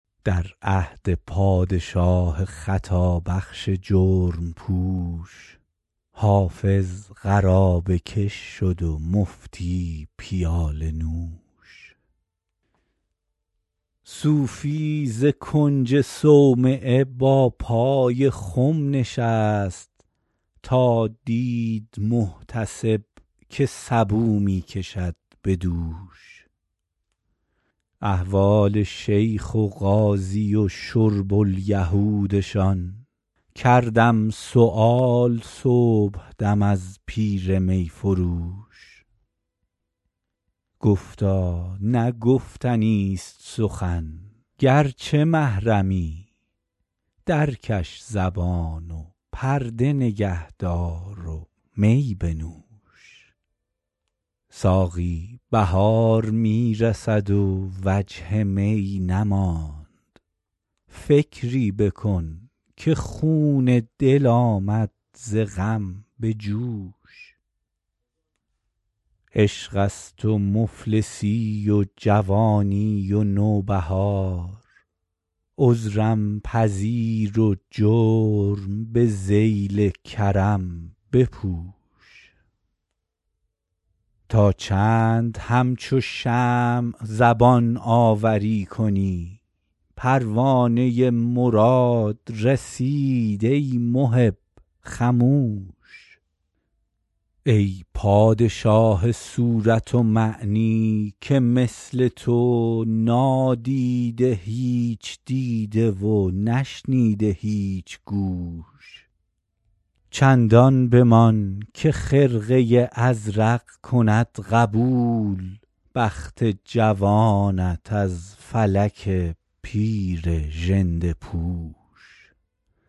در عهد پادشاه خطابخش جرم پوش حافظ قرابه کش شد و مفتی پیاله نوش صوفی ز کنج صومعه با پای خم نشست تا دید محتسب که سبو می کشد به دوش احوال شیخ و قاضی و شرب الیهودشان کردم سؤال صبحدم از پیر می فروش گفتا نه گفتنیست سخن گرچه محرمی درکش زبان و پرده نگه دار و می بنوش ساقی بهار می رسد و وجه می نماند فکری بکن که خون دل آمد ز غم به جوش عشق است و مفلسی و جوانی و نوبهار عذرم پذیر و جرم به ذیل کرم بپوش تا چند همچو شمع زبان آوری کنی پروانه مراد رسید ای محب خموش ای پادشاه صورت و معنی که مثل تو نادیده هیچ دیده و نشنیده هیچ گوش چندان بمان که خرقه ازرق کند قبول بخت جوانت از فلک پیر ژنده پوش